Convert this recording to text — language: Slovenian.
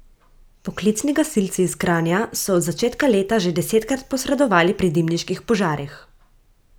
Poklicni gasilci iz Kranja so od začetka leta že desetkrat posredovali pri dimniških požarih.